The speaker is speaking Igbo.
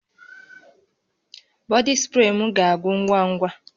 Bọdị spree m ga-agwụ ngwa ngwa